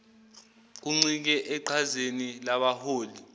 kuncike eqhazeni labaholi